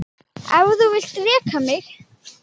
Ef þú vilt reka mig?